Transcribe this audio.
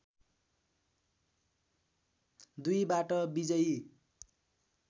२बाट विजयी